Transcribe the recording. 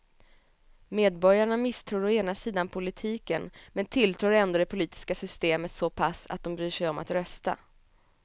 Medborgarna misstror å ena sidan politiken men tilltror ändå det politiska systemet så pass att de bryr sig om att rösta.